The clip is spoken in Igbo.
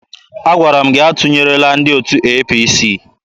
Agwara m gị atụnyerela ndị otu APC!